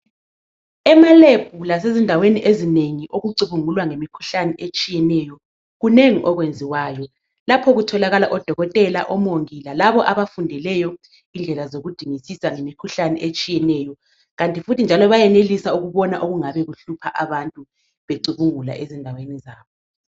EmaLab lasezindaweni ezinengi okucubungulwa ngemikhuhlane etshiyeneyo kunengi okwenziwayo. Lapho kutholakala odokotela, omongi lalabo abafundeleyo indlela zokudingisisa ngemikhuhlane etshiyeneyo. Kanti futhi njalo bayenelisa ukubona okungabe kuhlupha abantu becubungula ezindaweni zabo.